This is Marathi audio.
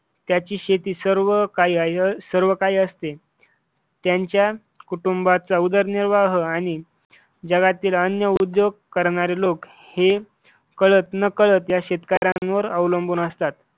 त्याची शेती सर्व काही आहे सर्व काही असते. त्यांच्या कुटुंबाचा उदरनिर्वाह आणि जगातील अन्य उद्योग करणारे लोक हे कळत नकळत या शेतकऱ्यांवर अवलंबून असतात.